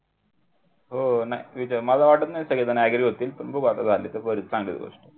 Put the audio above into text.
हो ना मला वाटत नाही की सगळेजण agree होतील पण बघू आता झाले तर बरे चांगलीच गोष्ट